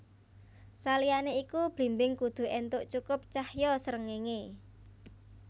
Saliyané iku blimbing kudu éntuk cukup cahya srengenge